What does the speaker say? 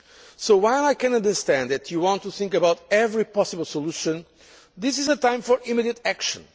may be. So while I can understand that you want to think about every possible solution, this is a time for immediate